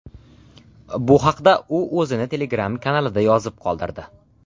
Bu haqda u o‘zini Telegram kanalida yozib qoldirdi .